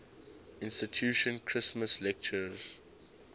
institution christmas lectures